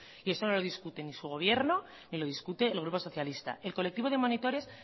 y eso no lo discute ni su gobierno ni lo discute el grupo socialista el colectivo de monitores